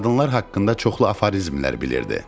Qadınlar haqqında çoxlu aforizmlər bilirdi.